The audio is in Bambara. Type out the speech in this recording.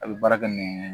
A bɛ baara kɛ ni